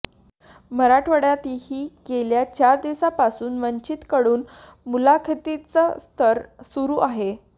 मराठवाड्यातही गेल्या चार दिवसांपासून वंचित कडून मुलाखतींचे सत्र सुरू आहे